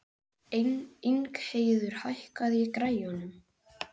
Ingheiður, hækkaðu í græjunum.